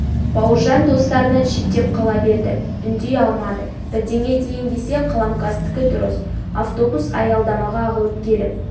бауыржан достарынан шеттеп қала берді үндей алмады бірдеңе дейін десе қаламқастікі дұрыс автобус аялдамаға ағылып келіп